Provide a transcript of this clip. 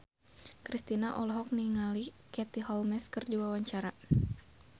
Kristina olohok ningali Katie Holmes keur diwawancara